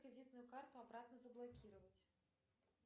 кредитную карту обратно заблокировать